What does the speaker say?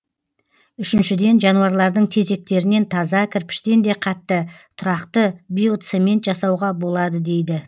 үшіншіден жануарлардың тезектерінен таза кірпіштен де қатты тұрақты биоцемент жасауға болады дейді